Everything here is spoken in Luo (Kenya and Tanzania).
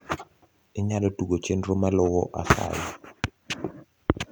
inyalo tugo chenro maluo asayi